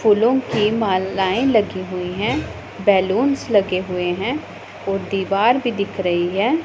फूलों की मालायें लगी हुई है बलूंस लगे हुए हैं ओ दीवार भी दिख रही है।